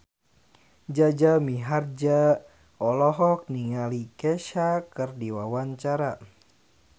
Jaja Mihardja olohok ningali Kesha keur diwawancara